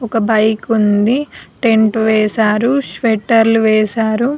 ఒక బైక్ వుంది టెంట్ వేశారు షెట్లర్లు వేశారు.